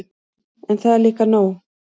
En það er líka nóg.